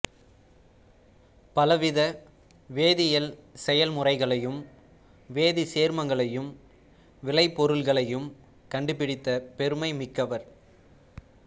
பலவித வேதியியல் செயல்முறைகளையும் வேதிச்சேர்மங்களையும் விளைபொருள்களையும் கண்டுபிடித்த பெருமை மிக்கவர்